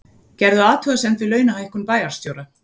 Gerðu athugasemd við launahækkun bæjarstjóra